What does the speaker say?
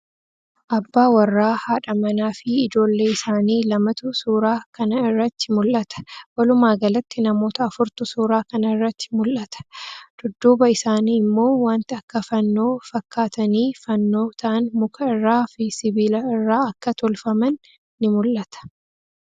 Abbaa warraa, haadha manaa fii ijoollee isaanii lamatu suuraa kana irratti mul'ata. Walumaa galatti namoota afurtu suuraa kana irratti mul'ata. Dudduuba isaanii immoo wanti akka fannoo fakkaatanii fannoo ta'an muka irraa fi sibiila irraa akka tolfaman ni mul'ata.